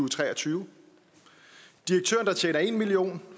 tre og tyve direktøren der tjener en million